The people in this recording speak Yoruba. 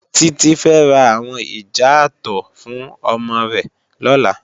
Titi fè rá áwòn ijàátò fún òmò rè lòlá